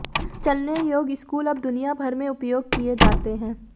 चलने योग्य स्कूल अब दुनिया भर में उपयोग किए जाते हैं